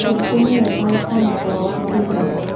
Ningĩ nĩ wega gũkoma toro wa kũigana.